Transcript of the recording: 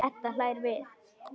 Edda hlær við.